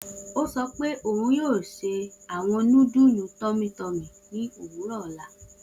O sọ pe oun yoo se awọn nudulu tummy tummy ni owurọ ọla